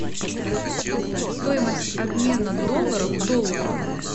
стоимость обмена долларов в доллар